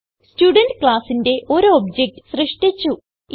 student classന്റെ ഒരു object സൃഷ്ടിച്ചു